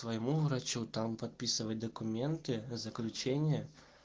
своему врачу там подписывать документы заключение